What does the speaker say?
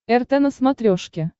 рт на смотрешке